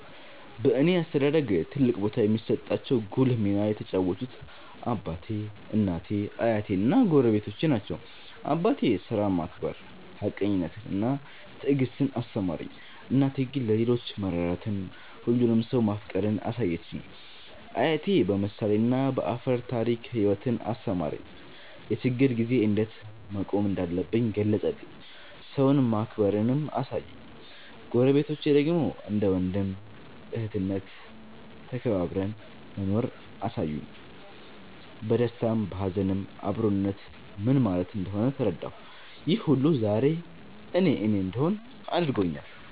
በእኔ አስተዳደግ ትልቅ ቦታ የሚሰጣቸው ጉልህ ሚና የተጫወቱት አባቴ፣ እናቴ፣ አያቴ እና ጎረቤቶቼ ናቸው። አባቴ ሥራን ማክበር፣ ሀቀኝነትን እና ትዕግስትን አስተማረኝ። እናቴ ግን ለሌሎች መራራትን፣ ሁሉንም ሰው ማፍቀርን አሳየችኝ። አያቴ በምሳሌና በአፈ ታሪክ ሕይወትን አስተማረኝ፤ የችግር ጊዜ እንዴት መቆም እንዳለብኝ ገለጸልኝ፤ ሰውን ማክበርንም አሳየኝ። ጎረቤቶቼ ደግሞ እንደ ወንድም እህትነት ተከባብረን መኖርን አሳዩኝ፤ በደስታም በሀዘንም አብሮነት ምን ማለት እንደሆነ ተረዳሁ። ይህ ሁሉ ዛሬ እኔ እኔ እንድሆን አድርጎኛል።